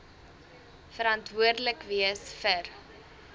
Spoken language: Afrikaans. verantwoordelik wees vir